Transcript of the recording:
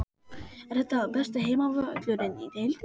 Er þetta besti heimavöllurinn í deildinni?